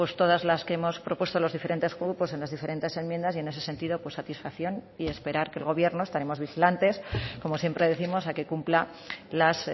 todas las que hemos propuesto los diferentes grupos en las diferentes enmiendas y en ese sentido satisfacción y esperar que el gobierno estaremos vigilantes como siempre décimos a que cumpla las